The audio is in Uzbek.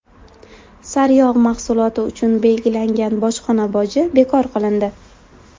Sariyog‘ mahsuloti uchun belgilangan bojxona boji bekor qilindi.